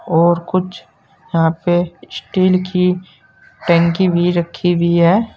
और कुछ यहां पे स्टील की टंकी भी रखी हुई है।